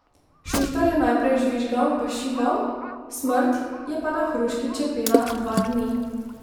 Šuštar je naprej žvižgal pa šival, smrt je pa na hruški čepela dva dni.